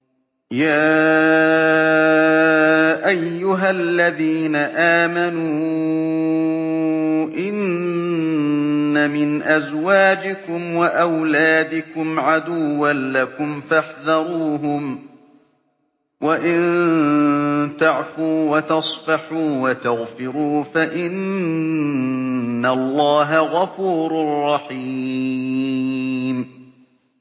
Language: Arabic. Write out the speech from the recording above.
يَا أَيُّهَا الَّذِينَ آمَنُوا إِنَّ مِنْ أَزْوَاجِكُمْ وَأَوْلَادِكُمْ عَدُوًّا لَّكُمْ فَاحْذَرُوهُمْ ۚ وَإِن تَعْفُوا وَتَصْفَحُوا وَتَغْفِرُوا فَإِنَّ اللَّهَ غَفُورٌ رَّحِيمٌ